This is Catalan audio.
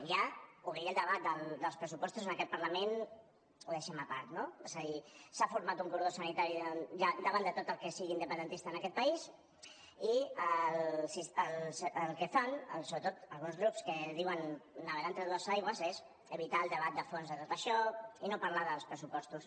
ja obrir el debat dels pressupostos en aquest parlament ho deixem a part no és a dir s’ha format un cordó sanitari ja davant de tot el que sigui independentista en aquest país i el que fan sobretot alguns grups que diuen navegar entre dues aigües és evitar el debat de fons de tot això i no parlar dels pressupostos